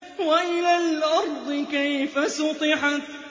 وَإِلَى الْأَرْضِ كَيْفَ سُطِحَتْ